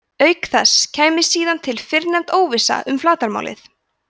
auk þess kæmi síðan til fyrrnefnd óvissa um flatarmálið